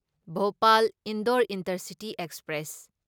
Bhopal Indore intercity express